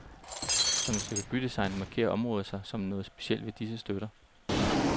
Som et stykke bydesign markerer området sig som noget specielt ved disse støtter.